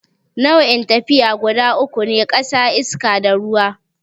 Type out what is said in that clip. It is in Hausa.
Nau'in tafiya guda uku ne, ƙasa, iska, da ruwa.